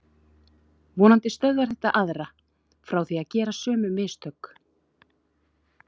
Vonandi stöðvar þetta aðra frá því að gera sömu mistök.